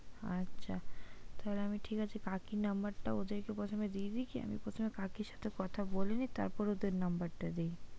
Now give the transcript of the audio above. আচ্ছা তাহলে আমি ঠিক আছে কাকির number টা ওদের কে প্রথমে দিয়ে দিচ্ছি আমি প্রথমে কাকির সাথে কথা বলে নিচ্ছি তারপরে ওদের number টা দিচ্ছি।